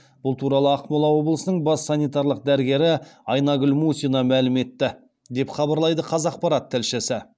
бұл туралы ақмола облысының бас санитарлық дәрігері айнагүл мусина мәлім етті деп хабарлайды қазақпарат тілшісі